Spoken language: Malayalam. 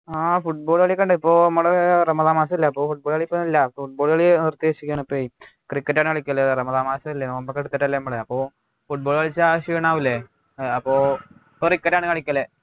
ആഹ് football കളിയൊക്കെ ഉണ്ട് ഇപ്പൊ മ്മളെ റമദാൻ മാസം അല്ലെ അപ്പൊ football ഒക്കെ ഒന്നും ഇല്ല അപ്പൊ football കളി നിർത്തി വചിക്കാണ് ഇപ്പൊഎ cricket ആണ് കളിക്കല് റമദാൻ മാസം ഇല്ലേ നോമ്പൊക്കെ എടുത്തിട്ടല്ലേ മ്മള് അപ്പൊ football കളിച്ച ക്ഷീണാവൂലെ ഏർ അപ്പൊ പ്പോ cricket ആണ് കളിക്കല്